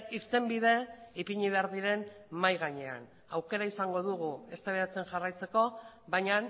irtenbide ipini behar diren mahai gainean aukera izango dugu eztabaidatzen jarraitzeko baina